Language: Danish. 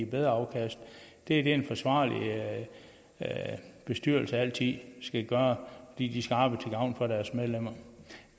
bedre afkast det er det en ansvarlig bestyrelse altid skal gøre de skal arbejde til gavn for deres medlemmer